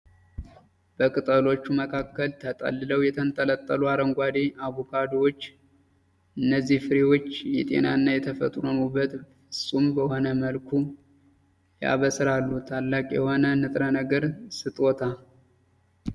በቅጠሎቹ መካከል ተጠልለው የተንጠለጠሉ አረንጓዴ፣ አቮካዶዎች! እነዚህ ፍሬዎች የጤናና የተፈጥሮን ውበት ፍጹም በሆነ መልኩ ያበስራሉ። ታላቅ የሆነ የንጥረ ነገር ስጦታ!